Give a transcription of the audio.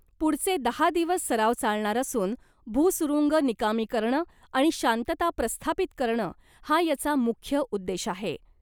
पुढचे दहा दिवस सराव चालणार असून , भुसुरूंग निकामी करणं आणि शांतता प्रस्थापित करणं हा याचा मुख्य उद्देश आहे .